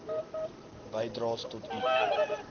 bydraes tot u